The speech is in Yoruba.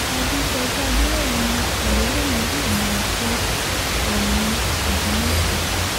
àdèsójì adẹ̀rẹ̀mí ni àròlé mi yóò máa jẹ́ oòní ogunwúsì